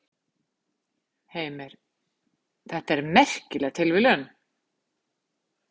Heimir: Þetta er merkileg tilviljun?